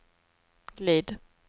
glid